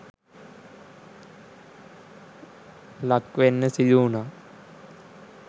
ලක්වෙන්න සිදු වුනා.